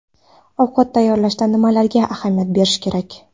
Ovqat tayyorlashda nimalarga ahamiyat berish kerak?